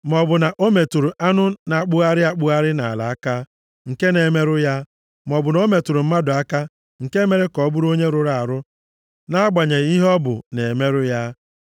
maọbụ na o metụrụ anụ na-akpụgharị akpụgharị nʼala aka, nke na-emerụ ya, maọbụ na ọ metụrụ mmadụ aka nke mere ka ọ bụrụ onye rụrụ arụ nʼagbanyeghị ihe ọ bụ na-emerụ ya.